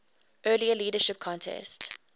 earlier leadership contest